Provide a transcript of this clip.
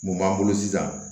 Mun b'an bolo sisan